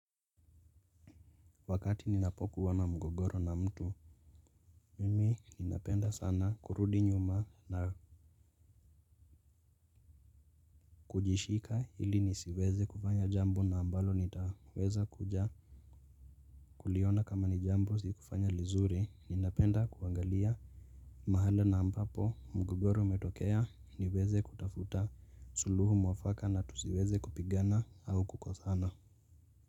Wakati ninapokuwa na mgogoro na mtu, mimi ninapenda sana kurudi nyuma na kujishika ili nisiweze kufanya jambo na ambalo nitaweza kuja kuliona kama ni jambo sikufanya lizuri ninapenda kuangalia mahala na ambapo mgogoro umetokea niweze kutafuta suluhu mwafaka na tusiweze kupigana au kukosana.